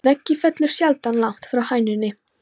Að eggið fellur sjaldan langt frá hænunni!